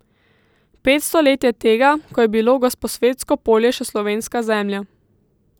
Petsto let je tega, ko je bilo Gosposvetsko polje še slovenska zemlja.